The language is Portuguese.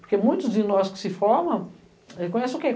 Porque muitos de nós que se formam, eh, conhecem o quê?